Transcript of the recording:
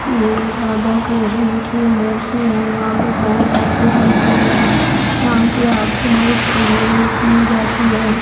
ये राधा कृष्ण की मूर्ति है यहां पे बहुत भव्य मंदिर है यहां की आरती बहुत भव्य की जाती है।